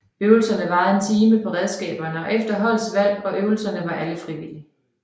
Øvelserne varede en time på redskaber efter holdets valg og øvelserne var alle frivillige